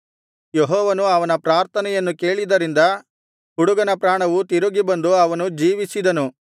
ಯೆಹೋವನು ಅವನ ಪ್ರಾರ್ಥನೆಯನ್ನು ಕೇಳಿದ್ದರಿಂದ ಹುಡುಗನ ಪ್ರಾಣವು ತಿರುಗಿ ಬಂದು ಅವನು ಜೀವಿಸಿದನು